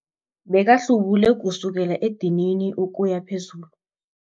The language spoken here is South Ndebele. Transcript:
Bekahlubule kusukela edinini ukuya phezulu.